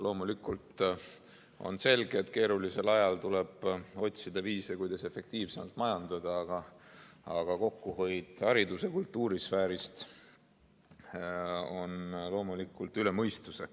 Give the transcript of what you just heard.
Loomulikult on selge, et keerulisel ajal tuleb otsida viise, kuidas efektiivsemalt majandada, aga kokkuhoid haridus- ja kultuurisfääris on üle mõistuse.